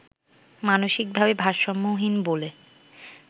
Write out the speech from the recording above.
মানসিক ভাবে ভারসাম্যহীন বলে